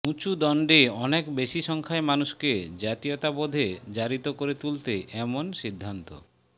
উঁচু দণ্ডে অনেক বেশি সংখ্যায় মানুষকে জাতীয়তাবোধে জারিত করে তুলতে এমন সিদ্ধান্ত